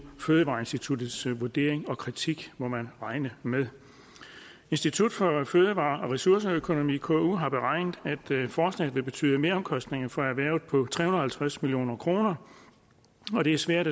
fødevareinstituttets vurdering og kritik må man regne med institut for fødevare og ressourceøkonomi på ku har beregnet at forslaget vil betyde meromkostninger for erhvervet på tre hundrede og halvtreds million kr og det er svært